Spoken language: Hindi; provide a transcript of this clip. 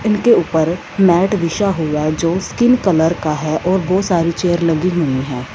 उनके ऊपर मैट बिछा हुआ है जो स्किन कलर का है और बहोत सारी चेयर लगी हुई हैं।